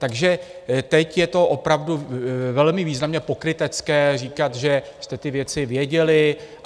Takže teď je to opravdu velmi významně pokrytecké říkat, že jste ty věci věděli.